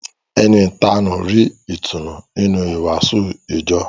Ẹni ìtanú rí ìtùnú nínú ìwàásù ìjọ